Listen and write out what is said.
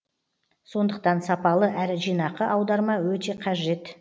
сондықтан сапалы әрі жинақы аударма өте қажет